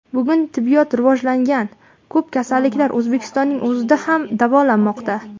Bugun tibbiyot rivojlangan, ko‘p kasalliklar O‘zbekistonning o‘zida ham davolanmoqda.